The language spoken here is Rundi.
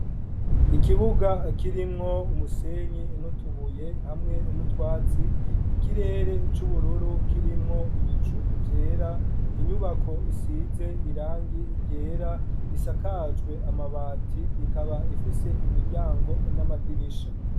Ikibuga kirimwo umusenyi n'utubuye, hamwe n:utwatsi, Ikirere c'ubururu kirimwo ibicu vyera, inyubako isize irangi ryera, risakajwe amabati, rikaba rifise imiryango n'amadirisha.